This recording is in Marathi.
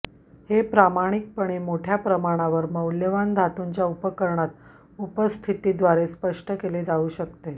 हे प्रामाणिकपणे मोठ्या प्रमाणावर मौल्यवान धातूंच्या उपकरणात उपस्थिती द्वारे स्पष्ट केले जाऊ शकते